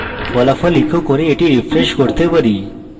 ফলাফল echo করি এবং আমরা এটি refresh করতে পারি